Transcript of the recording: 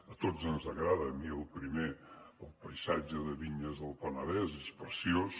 a tots ens agrada a mi el primer el paisatge de vinyes del penedès és preciós